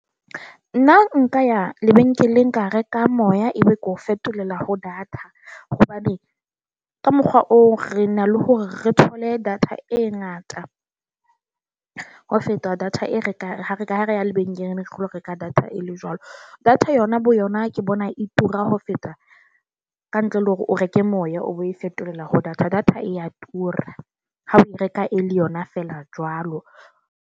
Nna nka ya lebenkeleng, ka re ka moya ebe ko fetolela ho data, hobane ka mokgwa o re na le hore re thole data e ngata ho feta data e re ka ha re ka ha re ya lebenkeleng ke lo reka data e le jwalo. Data yona bo yona ke bona e tura ho feta kantle le hore o reke moya o e fetolela ho data. Data e a tura ha o e reka e le yona feela jwalo.